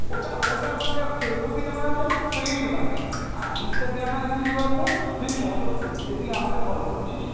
ওটা ওটার মধ্যে Facebook এ যেমন হচ্ছে আমরা friend বানাই, আর instagram এ হচ্ছে কী বলতো? তুই follow করবি যে তুই আমাকে follow করছিস,